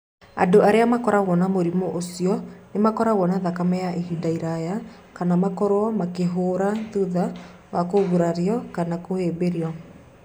Andũ arĩa makoragwo na mũrimũ ũcio nĩ makoragwo na thakame ya ihinda iraya kana makorũo makĩhũũra thutha wa kũgurario kana kũhĩmbĩrio.